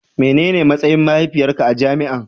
Menene matsayin mahaifiyarka a jami'an.